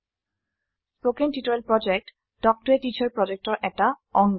কথন শিক্ষণ প্ৰকল্প তাল্ক ত a টিচাৰ প্ৰকল্পৰ এটা অংগ